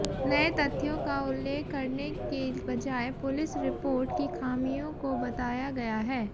नए तथ्यों का उल्लेख करने के बजाय पुलिस रिपोर्ट की खामियों को बताया गया है